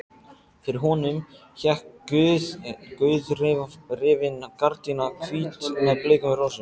Fyrir honum hékk gauðrifin gardína, hvít með bleikum rósum.